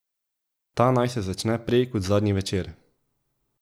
Ta naj se začne prej kot zadnji večer.